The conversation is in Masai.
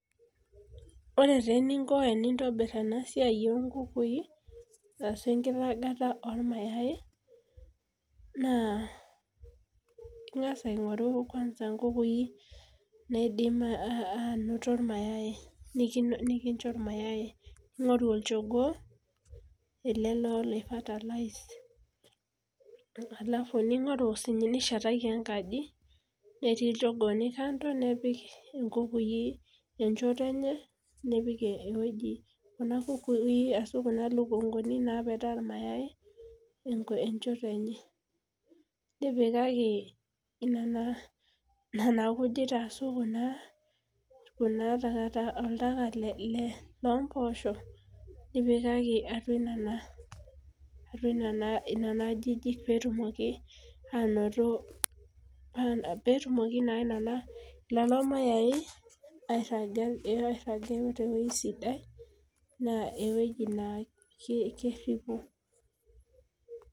Orw eninko peintobir enasia obkukui ashu enkitobirata ormayai na ingasa aingoru nkukui nikincho irmayai ingori olchogoo ningori nishetaki enkaji netii iljogooni kando netii nkukui enchoto enye nipik nkukui ashu kuna lukunguni emchoto enye nipikaki nona kujit ashu kuja oltaka lompoosho nipikaki atua nona ajijik petimoki nona mayai airaga tewoi sidai na ewoi na kepuku